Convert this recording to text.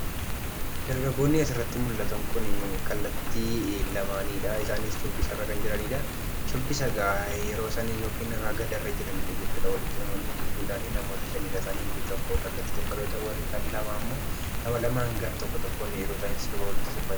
Dargaggoonni asirratti mul'atan kun, kallattii lamaanidha. isaaniis shubbisarra kan jiranidha. shubbisaga yeroosan yookiin ragadarra kan jiranidha jechudha. Walitti dhufanii gidduudhan namoota shan isaani. Inni tokko kallattii tokkorra yoo ta'u, inni gar-lamammoo nama lamaan gar-tokko tokkoon yeroosaan sirba, sirbaa jiranidha.